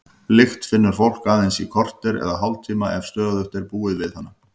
Lykt finnur fólk aðeins í korter eða hálftíma ef stöðugt er búið við hana.